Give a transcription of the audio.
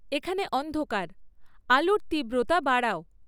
এখানে অন্ধকার, আলোর তিব্রতা বাড়াও